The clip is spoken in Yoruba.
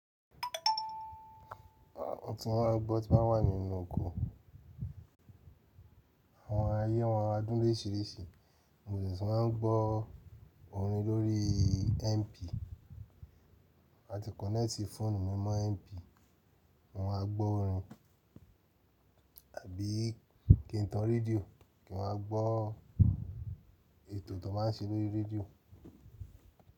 Ohun tí wọ́n máa ń gbọ́ tí wọ́n wà nínú oko, àwọn ayé wọn adún oríṣìíríṣìí. Music máa ń gbọ́ orin lórí MP, a ti kọ̀nẹ́tì fóònù mímọ́ MP, mo máa gbọ́ orin àbí kí n tan rédíò kí n máa gbọ́ ètò tó máa ń ṣe lórí rédíò.